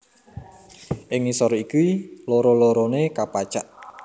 Ing ngisor iki loro loroné kapacak